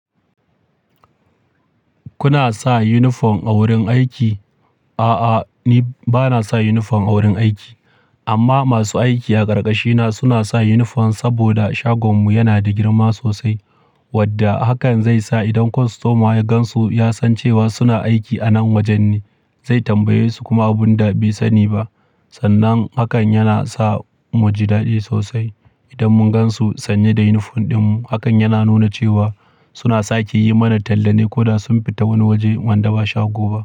Kuna sa unifom a wurin aiki? A'a, ni ba na sa yunifom a wurin aiki. Amma masu aiki a ƙarƙashina suna sa yunifom, saboda shagonmu yana da girma sosai, wadda hakan zai sa idan kwastoma ya gan su, ya san cewa suna aiki a nan wajen ne, zai tambaye su kuma abin da bai sani ba. Sannan hakan yana sa mu ji daɗi sosai idan mun gan su sanye da yunifom ɗinmu. Hakan yana nuna cewa suna sake yi mana tallane ko da sun fita wani waje, wanda ba shago ba.